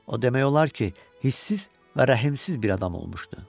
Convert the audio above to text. O demək olar ki, hisssiz və rəhimsiz bir adam olmuşdu.